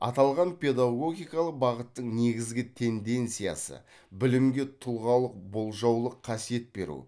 аталған педагогикалық бағыттың негізгі тенденциясы білімге тұлғалық болжаулық қасиет беру